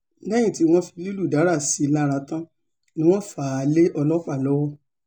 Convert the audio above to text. lẹ́yìn tí wọ́n fi lílù dárà sí i lára tán ni wọ́n fà á lé ọlọ́pàá lọ́wọ́